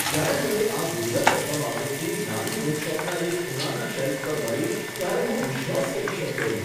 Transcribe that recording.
જ્યારે મને આ દુર્લભ પ્રથમ આવૃત્તિ નાની બુકશોપના એક ખૂણાના શેલ્ફ પર મળી ત્યારે હું તેનો વિશ્વાસ કરી શક્યો નહીં.